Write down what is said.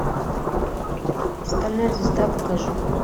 стальная звезда покажи